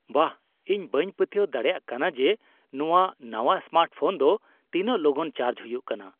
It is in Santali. ᱵᱟᱦ!, ᱤᱧ ᱵᱟᱹᱧ ᱯᱟᱹᱛᱭᱟᱹᱣ ᱫᱟᱲᱮᱭᱟᱜ ᱠᱟᱱᱟ ᱡᱮ ᱱᱚᱶᱟ ᱱᱟᱶᱟ ᱥᱢᱟᱨᱴᱯᱷᱳᱱ ᱫᱚ ᱛᱤᱱᱟᱹᱜ ᱞᱚᱜᱚᱱ ᱪᱟᱨᱡ ᱦᱩᱭᱩᱜ ᱠᱟᱱᱟ !